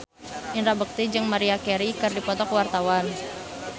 Indra Bekti jeung Maria Carey keur dipoto ku wartawan